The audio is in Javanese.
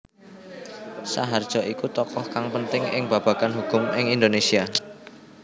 Saharjo iku tokoh kang penting ing babagan hukum ing Indonésia